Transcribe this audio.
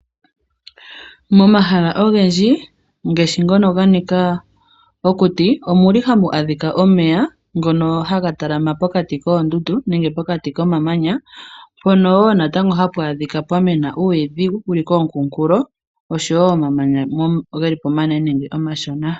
Momahala ogendji ngaashi ngono ganika okuti omu li hamu adhika omeya ngono haga talama pokati koondundu nenge pokati komamanya mpono wo natango hapu adhika pwa mena uuyidhi wu li koonkunkulo nosho wo omamanya ge li po omanene nenge omashona.